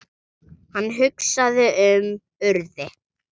Hann hugsaði um Urði.